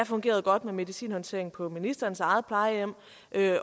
fungeret godt med medicinhåndtering på ministerens eget plejehjem